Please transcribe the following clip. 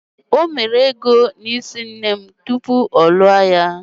O mere ego n'isi nne m tupu ọ lụọ ya